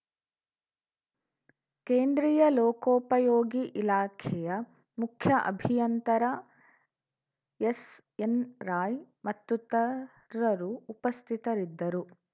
ಕೇಂದ್ರೀಯ ಲೋಕೋಪಯೋಗಿ ಇಲಾಖೆಯ ಮುಖ್ಯ ಅಭಿಯಂತರ ಎಸ್‌ಎನ್‌ರಾಯ್‌ ಮತ್ತುತರರು ಉಪಸ್ಥಿತರಿದ್ದರು